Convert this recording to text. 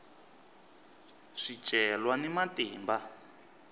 swicelwa ni matimba